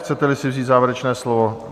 Chcete si vzít závěrečné slovo?